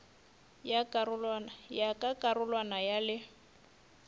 ya ka karolwana ya le